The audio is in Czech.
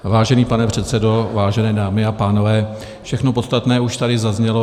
Vážený pane předsedo, vážené dámy a pánové, všechno podstatné už tady zaznělo.